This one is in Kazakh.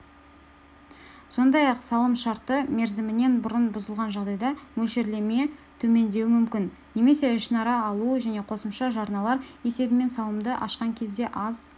сондай-ақ салым шарты мерзімінен бұрын бұзылған жағдайда мөлшерлеме төмендеуі мүмкін немесе ішінара алу және қосымша жарналар есебімен салымды ашқан кезде аз